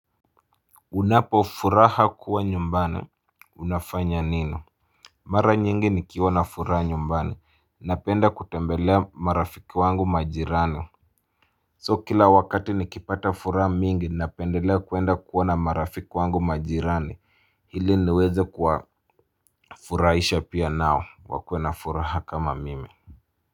Unapofuraha kuwa nyumbani unafanya nini. Mara nyingi nikiwa na furaha nyumbani napenda kutembelea marafiki wangu majirani So kila wakati nikipata furaha mingi napendelea kuenda kuwa na marafiki wangu majirani ili niweze kuwafuraisha pia nao wakuwe na furaha kama mimi.